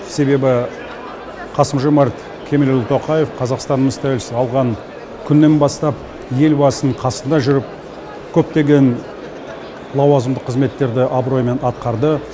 себебі қасым жомарт кемелұлы тоқаев қазақстанымыз тәуелсіздік алған күннен бастап елбасының қасында жүріп көптеген лауазымды қызметтерді абыроймен атқарды